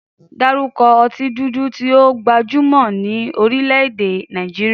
Dárúkọ ọtí dúdú tí ó gbajúmọ̀ ní orílẹ̀-èdè Nàìjíríà.